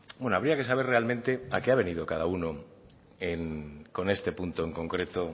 bueno habría que saber realmente a qué ha venido cada uno con este punto en concreto